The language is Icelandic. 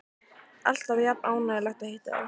Alltaf er jafn ánægjulegt að hitta þig.